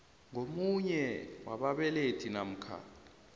ngomunye wababelethi namkha